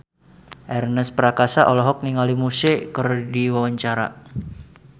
Ernest Prakasa olohok ningali Muse keur diwawancara